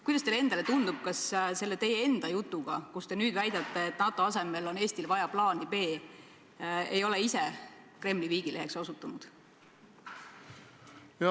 Kuidas teile endale tundub, kas te selle jutuga, millega te nüüd väidate, et NATO asemel on Eestil vaja plaani B, ei ole ise Kremli viigileheks osutunud?